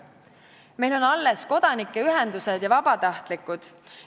Meil on alles kodanikuühendused ja vabatahtlikud.